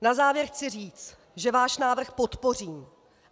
Na závěr chci říct, že váš návrh podpořím.